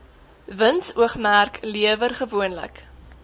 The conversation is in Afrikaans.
winsoogmerk lewer gewoonlik